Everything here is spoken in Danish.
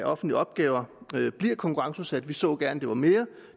offentlige opgaver bliver konkurrenceudsat vi så gerne at det var mere